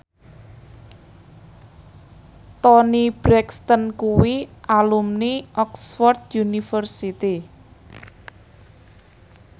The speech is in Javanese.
Toni Brexton kuwi alumni Oxford university